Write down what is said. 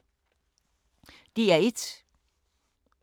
DR1